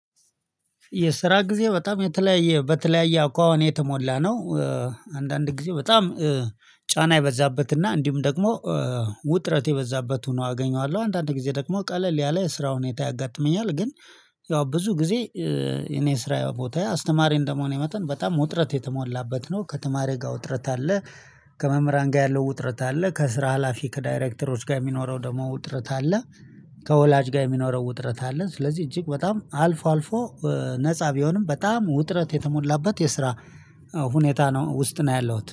የስራ ጊዜ በጣም የተለያየ በተለያየ አኳኋን የተሞላ ነው። አንዳንድ ጊዜ በጣም ጫና የበዛበትና እንዲሁም ደግሞ ውጥረት የበዛበት ሆኖ አገኘዋለሁ። አንዳንድ ጊዜ ደግሞ ቀለል ያለ ስራ ሁኔታ ያጋጥመኛል ግን። ያው ብዙ ጊዜ የኔስራዬ ቦታዬ አስተማሪ እንደመሆን የመጠን በጣም ውጥረት የተሞላበት ነው ከተማሪ ጋር ውጥረት አለ። ከመምህራን ጋር ያለው ውጥረት አለ ከስራ ሀላፊ ከዳይሬክተሮች ጋር የሚኖረው ደግሞ ውጥረት አለ። ከወላጅ ጋር የሚኖረው ውጥረት አለ ስለዚህ እጅግ በጣም አልፎ አልፎ። ነፃ ቢሆንም በጣም ውጥረት የተሞላበት የስራ ሁኔታ ነው ውስጥ ነው ያለሁት